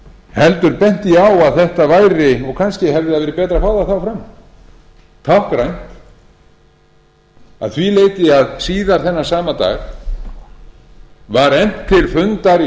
heldur benti ég á að þetta væri og kannski hefði verið betra að fá það þá fram táknrænt að því leyti að síðar þennan sama dag var efnt til fundar í